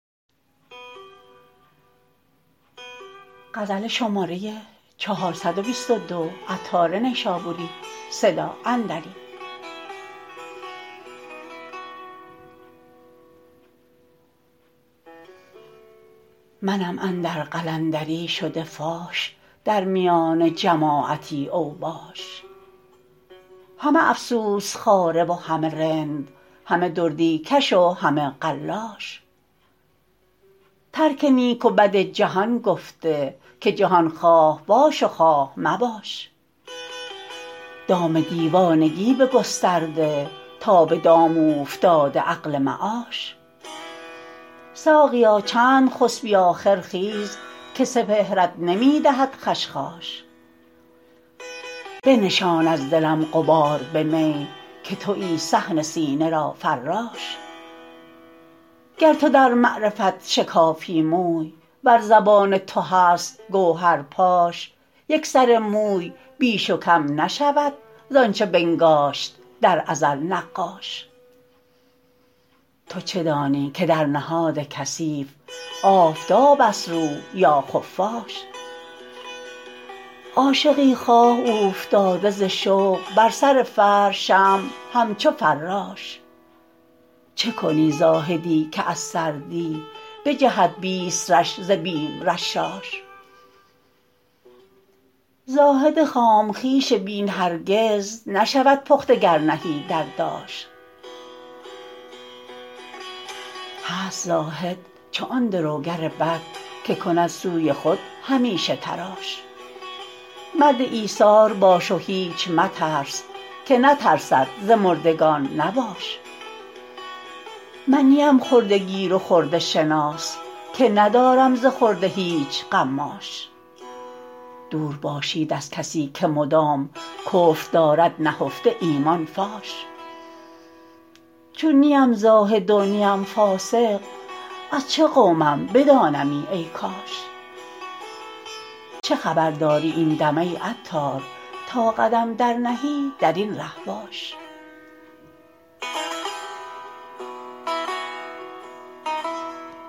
منم اندر قلندری شده فاش در میان جماعتی اوباش همه افسوس خواره و همه رند همه دردی کش و همه قلاش ترک نیک و بد جهان گفته که جهان خواه باش و خواه مباش دام دیوانگی بگسترده تا به دام اوفتاده عقل معاش ساقیا چند خسبی آخر خیز که سپهرت نمی دهد خشخاش بنشان از دلم غبار به می که تویی صحن سینه را فراش گر تو در معرفت شکافی موی ور زبان تو هست گوهر پاش یک سر موی بیش و کم نشود زانچه بنگاشت در ازل نقاش تو چه دانی که در نهاد کثیف آفتاب است روح یا خفاش عاشقی خواه اوفتاده ز شوق بر سر فرش شمع همچو فراش چه کنی زاهدی که از سردی بجهد بیست رش ز بیم رشاش زاهد خام خویش بین هرگز نشود پخته گر نهی در داش هست زاهد چو آن دروگر بد که کند سوی خود همیشه تراش مرد ایثار باش و هیچ مترس که نترسد ز مردگان نباش من نی ام خرده گیر و خرده شناس که ندارم ز خرده هیچ قماش دور باشید از کسی که مدام کفر دارد نهفته ایمان فاش چون نی ام زاهد و نی ام فاسق از چه قومم بدانمی ای کاش چه خبر داری این دم ای عطار تا قدم درنهی درین ره باش